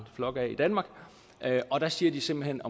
flok af i danmark altså der siger de simpelt hen